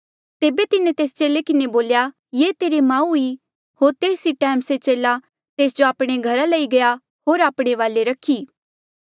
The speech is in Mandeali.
तेबे तिन्हें तेस चेले किन्हें बोल्या ये तेरी माऊ ई होर तेस ई टैम से चेला तेस्सा जो आपणे घरा लई गया होर आपणे वाले रखी